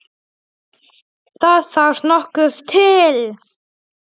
Það þarf nokkuð til!